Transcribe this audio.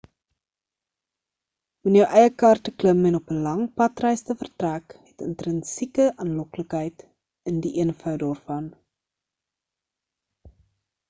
om in jou eie kar te klim en op 'n lang padreis te vertrek het intrinsieke aanloklikheid in die eenvoud daarvan